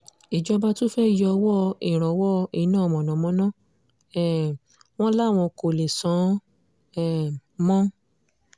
ìjọba tún fẹ́ẹ́ yọ owó ìrànwọ́ iná mọ̀nàmọ́ná um wọn láwọn kò lè san án um mọ́